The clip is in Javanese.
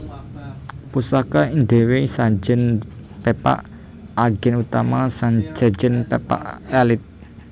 Pusaka diwenehi sajèn pepak ageng utawa sajèn pepak alit